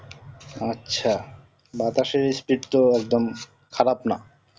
আচ্ছা বাতাসের speed তো একদম খারাপ না